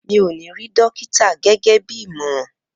Mi ò ní rí dókítà gẹ́gẹ́ bí ìmọ̀ràn